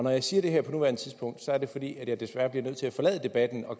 jeg siger det her på nuværende tidspunkt er det fordi jeg desværre bliver nødt til at forlade debatten og